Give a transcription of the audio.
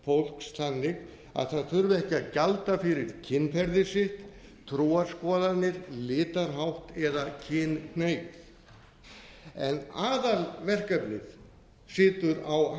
fólks þannig að það þurfi ekki að gjalda fyrir kynferði sitt trúarskoðanir litarhátt eða kynhneigð en aðalverkefnið situr á